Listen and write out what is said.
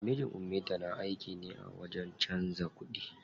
Mijin ummita na aiki ne a wajen canza kuɗi.